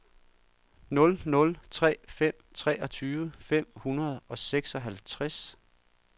nul nul tre fem treogtyve fem hundrede og seksoghalvtreds